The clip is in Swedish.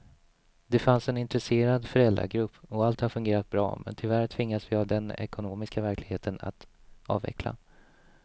Det fanns en intresserad föräldragrupp och allt har fungerat bra men tyvärr tvingas vi av den ekonomiska verkligheten att avveckla.